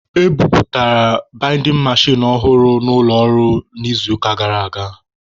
E bubatara baidin mechin ọhụrụ n'ụlọ ọrụ n'izuụka gara aga.